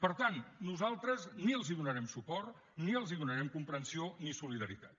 per tant nosaltres ni els donarem suport ni els donarem comprensió ni solidaritat